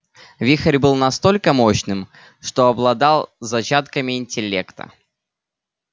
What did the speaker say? вихрь был настолько мощным что обладал зачатками интеллекта